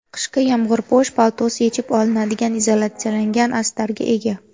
Qishki yomg‘irpo‘sh paltosi yechib olinadigan izolyatsiyalangan astarga ega.